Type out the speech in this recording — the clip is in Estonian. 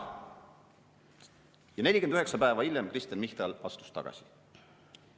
Ja 49 päeva hiljem astus Kristen Michal tagasi.